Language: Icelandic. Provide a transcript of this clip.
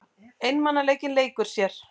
Einmanaleikinn leikur sér.